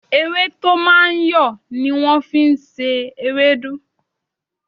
Ewé tó máa ń yọ̀ ni wọ́n fi ń ṣe ewédú